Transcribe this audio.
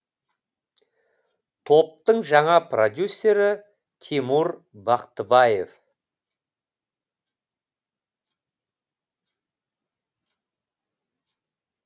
топтың жаңа продюсері тимур бақтыбаев